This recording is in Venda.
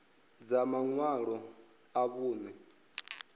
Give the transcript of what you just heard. dza maṅwalo a vhuṋe a